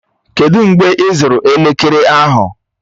Kedụ mgbe ịzụrụ elekere ahụ?